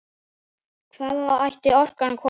Hvaðan ætti orkan að koma?